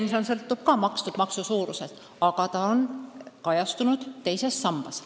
Tulevikuski sõltub pension ka makstud maksu suurusest, aga see kajastub teises sambas.